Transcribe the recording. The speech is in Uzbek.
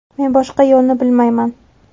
Men boshqa yo‘lni bilmayman.